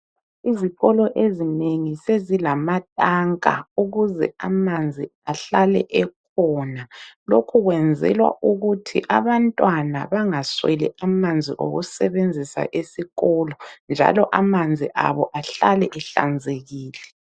Izikolo ezinengi sezilamatanka ukuze amanzi ahlale ekhona. Lokhu kwenzelwa ukuthi abantwana bangasweli amanzi okusebenzisa esikolo njalo amanzi abo ahlale ehlanzekile.